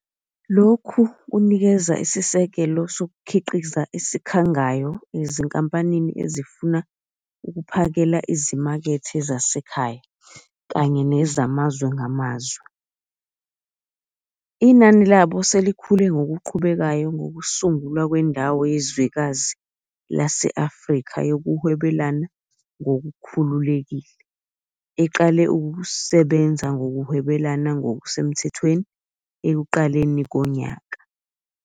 Lokhu kunikeza isisekelo sokukhiqiza esikhangayo ezinkampanini ezifuna ukuphakela izimakethe zasekhaya kanye nezamazwe ngamazwe. Inani labo selikhule ngokuqhubekayo ngokusungulwa kweNdawo Yezwekazi lase-Afrika Yokuhwebelana Ngokukhululekile, eqale ukusebenza ngokuhwebelana ngokusemthethweni ekuqaleni konyaka.